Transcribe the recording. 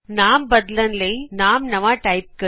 ਨਾਮ ਬਦਲਣ ਲਈ ਨਵਾਂ ਨਾਮ ਟਾਈਪ ਕਰੋ